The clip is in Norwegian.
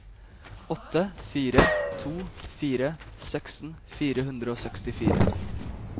åtte fire to fire seksten fire hundre og sekstifire